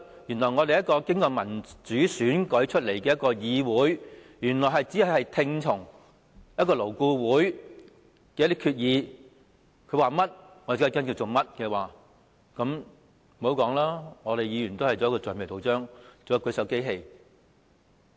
原來這個經由民主選舉產生的議會，要聽從勞顧會所作決議，它說甚麼我們也要跟從，那麼議員便繼續充當橡皮圖章和舉手機器。